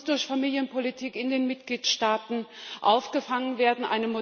Das muss durch Familienpolitik in den Mitgliedstaaten aufgefangen werden.